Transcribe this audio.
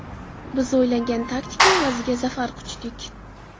Biz o‘ylangan taktika evaziga zafar quchdik.